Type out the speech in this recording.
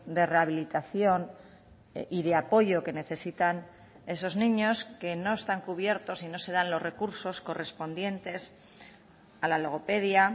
de rehabilitación y de apoyo que necesitan esos niños que no están cubiertos y no se dan los recursos correspondientes a la logopedia